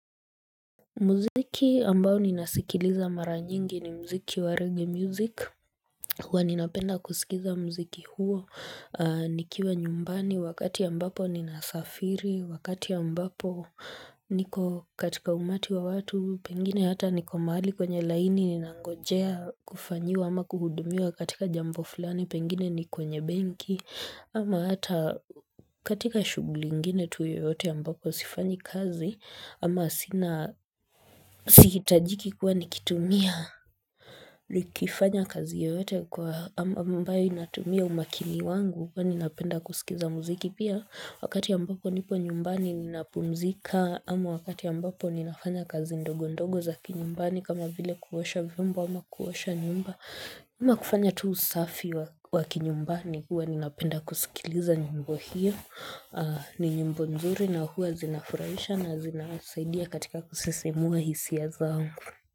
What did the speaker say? Muziki ambao ninasikiliza mara nyingi ni mziki wa rege music Hua ninapenda kusikiza mziki huo Nikiwa nyumbani wakati ambapo ninafafiri Wakati ambapo niko katika umati wa watu Pengine hata niko mahali kwenye laini Ninangojea kufanyiwa ama kuhudumiwa katika jambo fulani Pengine ni kwenye benki Ama hata katika shuguli ngine tu yoote ambapo sifanyi kazi Ama sina siitajiki kuwa nikitumia Likifanya kazi yoote kwa am ambayo inatumia umakini wangu ua ninapenda kusikiza muziki pia Wakati ambapo nipo nyumbani ninapumzika Ama wakati ambapo ninafanya kazi ndogo ndogo za kinyumbani kama vile kuosha viombo ama kuosha nyumba ama kufanya tu usafi wa wakinyumbani uwa ninapenda kuskiliza nyimbo hio ni nyimbo nzuri na huazina furaisha na zina asaidia katika kusisimua hisia zangu.